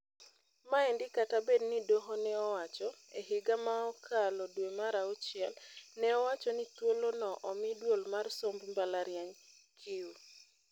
Maendi kata bed ni doho ne owacho, e higa mokalo dwe mar auchiel, neowacho ni thuolo no omi duol mar somb mbalariany(CUE)